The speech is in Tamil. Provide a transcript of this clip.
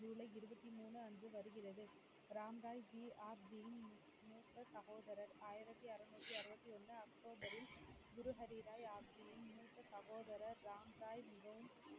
ஜூலை இருபத்தி மூணு அன்று வருகிறது. ராம்ராய் ஜி ஆப்ஜியின் மூத்த சகோதரர் ஆயிரத்தி அறுநூத்தி அறுபத்தி ஒண்ணு அக்டோபரில் குரு ஹரி ராய் ஆப்ஜியின் மூத்த சகோதரர் ராம்ராய் மிகவும்